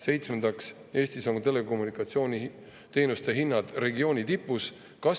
Seitsmendaks, Eestis on telekommunikatsiooniteenuste hinnad regiooniga tipus.